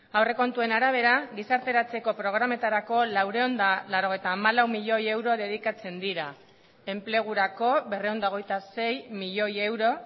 aurrekontuen arabera gizarteratzeko programetarako laurehun eta laurogeita hamalau milioi euro dedikatzen dira enplegurako berrehun eta hogeita sei milioi euro